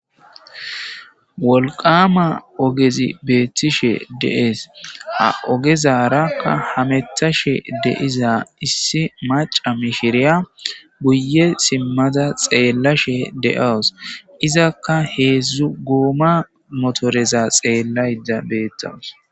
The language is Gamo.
Wolqama ogezi beettishe dees ha ogezarakka hamethashe deiza issi maca mishiriya guye simmada xeella she de7awos izakka heedzdzu gooma motoreza xeellayda beettawus.